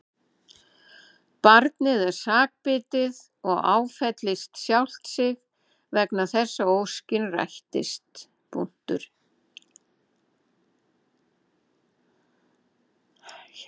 Barnið er sakbitið og áfellist sjálft sig vegna þess að óskin rættist.